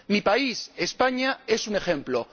Mi país, España, es un ejemplo.